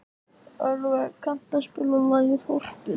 Ölveig, kanntu að spila lagið „Þorpið“?